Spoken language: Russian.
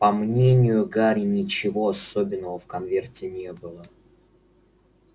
по мнению гарри ничего особенного в конверте не было